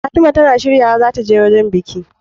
Fatima tAna shiryawa zata je wajan biki